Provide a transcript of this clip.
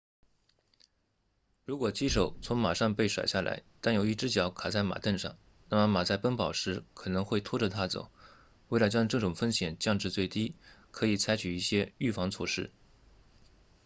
如果骑手从马上被甩下来但有一只脚卡在马镫上那么马在奔跑时可能会拖着他走为了将这种风险降至最低可以采取一些预防措施